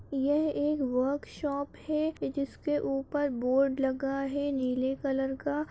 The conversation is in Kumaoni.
यह एक वर्कशॉप है जिसके ऊपर बोर्ड लगा है नीले कलर का--